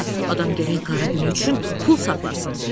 Adam gərək qara günü üçün pul saxlasın.